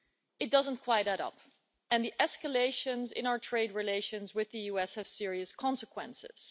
It doesn't quite add up, and the escalations in our trade relations with the US have serious consequences.